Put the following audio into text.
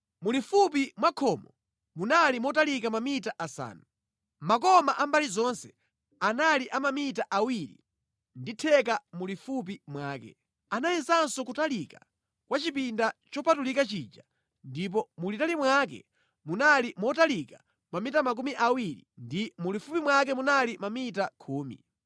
Mulifupi mwa khomo munali motalika mamita asanu. Makoma a mbali zonse anali a mamita awiri ndi theka mulifupi mwake. Anayezanso kutalika kwa chipinda chopatulika chija ndipo mulitali mwake munali motalika mamita makumi awiri ndi mulifupi mwake munali mamita khumi.